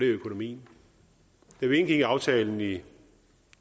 økonomien da vi indgik aftalen i